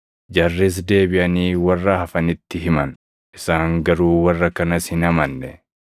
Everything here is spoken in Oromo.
Jarris deebiʼanii warra hafanitti himan; isaan garuu warra kanas hin amanne.